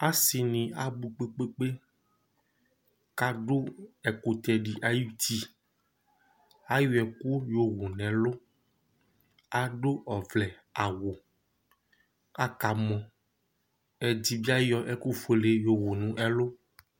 Asi ni abʋ kpe kpe kpe kʋ adu ɛkʋtɛ di ayʋ ʋti Ayɔ ɛku yɔwu nʋ ɛlu Adu ɔvlɛ awu kʋ akamɔ Ɛdí bi ayɔ ɛkʋ fʋele yowu nʋ ɛlu